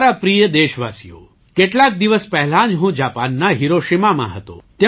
મારા પ્રિય દેશવાસીઓ કેટલાક દિવસ પહેલાં જ હું જાપાનના હિરોશિમામાં હતો